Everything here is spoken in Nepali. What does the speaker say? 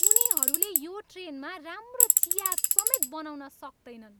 उनीहरूले यो ट्रेनमा राम्रो चिया समेत बनाउन सक्तैनन्!